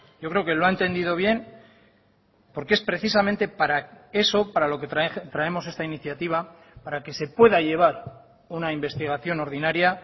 yo creo que lo ha entendido bien porque es precisamente para eso para lo que traemos esta iniciativa para que se pueda llevar una investigación ordinaria